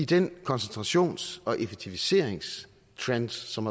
den koncentrations og effektiviseringstrend som